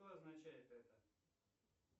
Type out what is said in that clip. что означает это